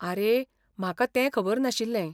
आरे, म्हाका तें खबर नाशिल्लें.